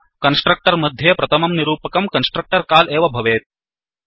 constructor मद्ये प्रथमं निरूपकं कन्स्ट्रक्टर् काल् एव भवेत्